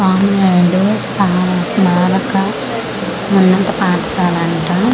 ఆంగ్లేయుడు స్పార స్మారక ఉన్నత పాఠశాల అంట--